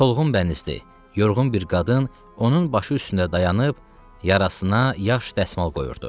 Solğun bənizli, yorğun bir qadın onun başı üstündə dayanıb yarasına yaş dəsmal qoyurdu.